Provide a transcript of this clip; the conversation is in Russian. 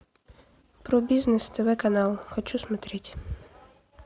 про бизнес тв канал хочу смотреть